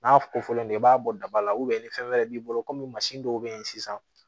N'a ko fɔlen don i b'a bɔ daba la ni fɛn wɛrɛ b'i bolo komi mansin dɔw bɛ yen sisan